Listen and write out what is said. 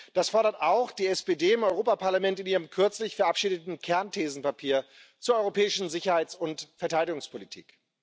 Das fordert auch die SPD im Europäischen Parlament in ihrem kürzlich verabschiedeten Kernthesenpapier zur europäischen Sicherheits und Verteidigungspolitik.